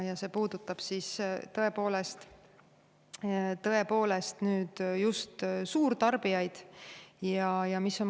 Ja see puudutab tõesti just suurtarbijaid.